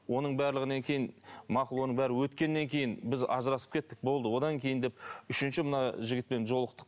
оның барлығынан кейін мақұл оның бәрі өткеннен кейін біз ажырасып кеттік болды одан кейін деп үшінші мына жігітпен жолықтық